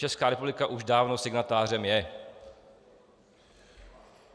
Česká republika už dávno signatářem je.